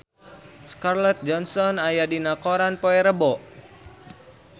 Scarlett Johansson aya dina koran poe Rebo